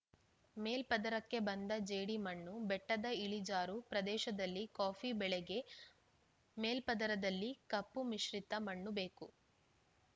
ಮೇಲ್ಪದರಕ್ಕೆ ಬಂದ ಜೇಡಿ ಮಣ್ಣು ಬೆಟ್ಟದ ಇಳಿಜಾರು ಪ್ರದೇಶದಲ್ಲಿ ಕಾಫಿ ಬೆಳೆಗೆ ಮೇಲ್ಪದರದಲ್ಲಿ ಕಪ್ಪು ಮಿಶ್ರಿತ ಮಣ್ಣು ಬೇಕು